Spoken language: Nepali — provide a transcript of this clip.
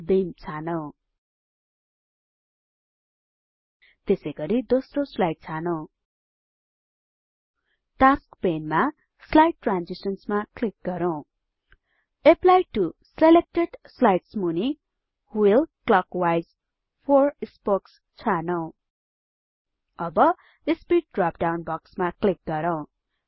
बिम छानौं त्यसैगरी दोस्रो स्लाइड छानौं टास्क पेनमा स्लाइड ट्रान्जिशन्स मा क्लिक गरौँ एप्ली टो सिलेक्टेड स्लाइड्स मुनि व्हील क्लकवाइज 4 स्पोक्स छानौं अब स्पिड ड्रप डाउन बक्समा क्लिक गरौँ